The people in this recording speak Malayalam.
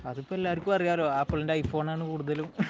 അതിപ്പോൾ എല്ലാവർക്കും അറിയാമല്ലോ ആപ്പിളിന്റെ ഐഫോൺ ആണ് കൂടുതലും